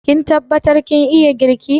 Kin tabbatar kin iya girki?